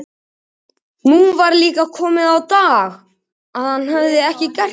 Nú var líka komið á daginn að hann hafði ekki gert það.